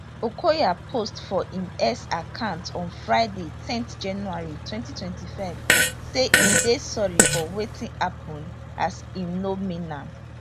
okoya post for im x account on friday ten january 2025 say e dey sorry for wetin happun as im no mean